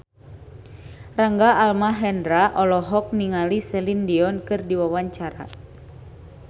Rangga Almahendra olohok ningali Celine Dion keur diwawancara